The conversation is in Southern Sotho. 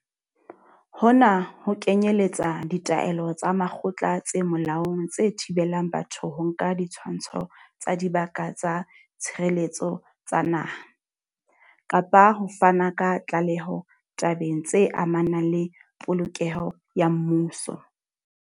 Hona ho kenyeletsa ditaelo tsa makgotla tse molaong tse thibelang batho ho nka ditshwantsho tsa Dibaka tsa Tshireletso tsa Naha, kapa ho fana ka tlaleho tabeng tse amanang le polokeho ya mmuso.